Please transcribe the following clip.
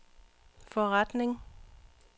forretning